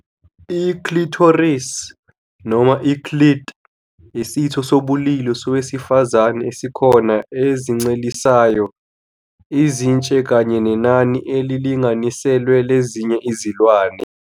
I clitoris noma i-clit isitho sobulili sowesifazane esikhona ezincelisayo, izintshe kanye nenani elilinganiselwe lezinye izilwane.